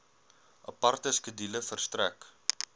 aparte skedule verstrek